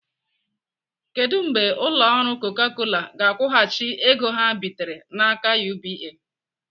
Kedụ mgbe ụlọ ọrụ Coca Cola ga-akwụghachi ego ha bitere n'aka UBA?